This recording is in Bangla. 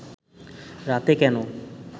রাতে কেন